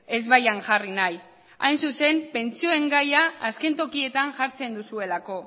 ezbaian jarri nahi hain zuzen pentsioen gaia azken tokietan jartzen duzuelako